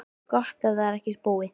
Gott ef það var ekki spói.